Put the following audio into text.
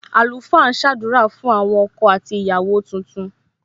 Àlùfáà ń sadura fún àwọn ọkọ àti ìyàwó tuntun.